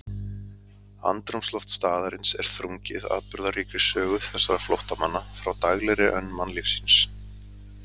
Andrúmsloft staðarins er þrungið atburðaríkri sögu þessara flóttamanna frá daglegri önn mannlífsins.